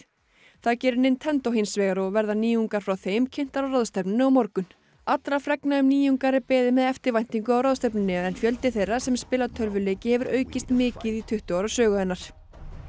það gerir Nintendo hins vegar og verða nýjungar frá þeim kynntar á ráðstefnunni á morgun allra fregna um nýjungar er beðið með eftirvæntingu á ráðstefnunni en fjöldi þeirra sem spila tölvuleiki hefur aukist mikið á tuttugu ára sögu hennar